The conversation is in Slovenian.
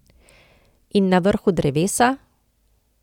In na vrhu drevesa?